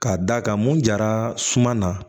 Ka d'a kan mun jara suma na